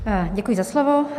Děkuji za slovo.